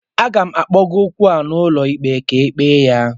Aga m kpụga okwu a n'ụlọ ikpe ka e ekpe ya